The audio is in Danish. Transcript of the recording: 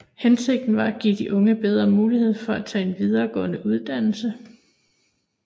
Hensigten var at give de unge bedre muligheder for at tage en videregående uddannelse